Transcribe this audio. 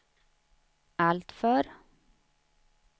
alltför